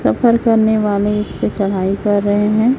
सफर करने वाले इस पे चढ़ाई कर रहे हैं।